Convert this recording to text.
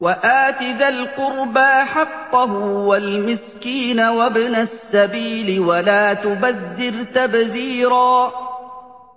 وَآتِ ذَا الْقُرْبَىٰ حَقَّهُ وَالْمِسْكِينَ وَابْنَ السَّبِيلِ وَلَا تُبَذِّرْ تَبْذِيرًا